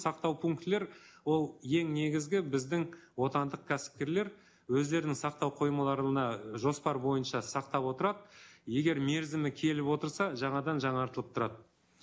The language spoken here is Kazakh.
сақтау пунктілер ол ең негізгі біздің отандық кәсіпкерлер өздерінің сақтау қоймаларына і жоспар бойынша сақтап отырады егер мерзімі келіп отырса жаңадан жаңартылып тұрады